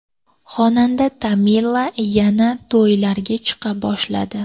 Xonanda Tamila yana to‘ylarga chiqa boshladi.